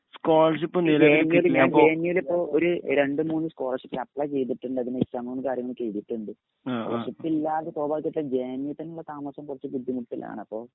ഈ വെങ്ങേലില്ലേ വെങ്ങേലിപ്പോ ഒര് രണ്ട്മൂന്ന് സ്കോളർഷിപ്പിന് അപ്ലൈ ചെയ്‌തിട്ടുണ്ടതിന് എക്‌സാമും കാര്യങ്ങളുമൊക്കെ എഴുതീട്ടുണ്ട്.സ്കോളർഷിപ്പില്ലാതെ താമസം കൊറച്ചു ബുദ്ധിമുട്ടിലാണ്.